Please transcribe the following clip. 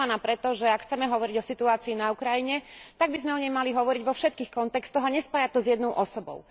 Som sklamaná preto, že ak chceme hovoriť o situácii na Ukrajine, tak by sme o nej mali hovoriť vo všetkých kontextoch a nespájať to s jednou osobou.